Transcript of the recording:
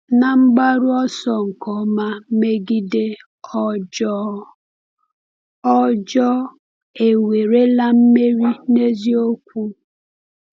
N’mgbaru ọsọ nke ọma megide ọjọọ, ọjọọ ewerela mmeri n’eziokwu?